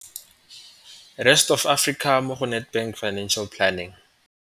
Rest Of Africa mo go Nedbank Financial Planning.